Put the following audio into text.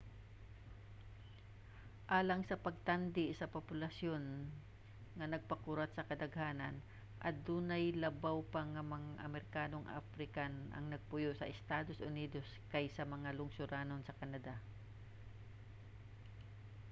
alang sa pagtandi sa populasyon nga nagpakurat sa kadaghanan: adunay labaw pa nga mga amerikanong african ang nagpuyo sa estados unidos kaysa sa mga lungsoranon sa canada